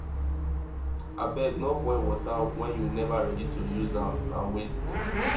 abeg no boil water wen you neva ready to use am na waste